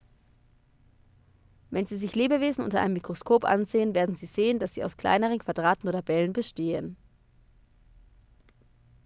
wenn sie sich lebewesen unter einem mikroskop ansehen werden sie sehen dass sie aus kleineren quadraten oder bällen bestehen